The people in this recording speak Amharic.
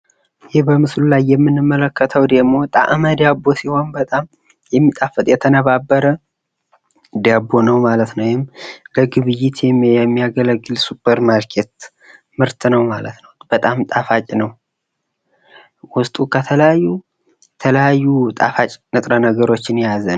ይህ በምስሉ ላይ የምንመለከተው ደግሞ ጣዕመ ዳቦ ሲሆን በጣም የሚጣፍጥ የተነባበረ ዳቦ ነው ማለት ነው ።ወይም ለግብይት የሚያገለግል የሱፐር ማርኬት ምርት ነው ።በጣም ጣፋጭ ነው ።በውስጡ በጣም ጣፋጭ ንጥረ ነገሮች የያዘ ነው ።